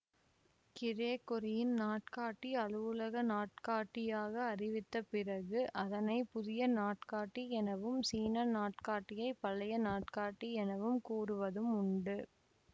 கிரெகொரியின் நாட்காட்டி அலுவலக நாட்காட்டியாக அறிவித்தப் பிறகு அதனை புதிய நாட்காட்டி எனவும் சீன நாட்காட்டியை பழைய நாட்காட்டி எனவும் கூறுவதும் உண்டு